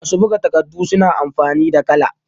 masu buga takardu suna amfani da kala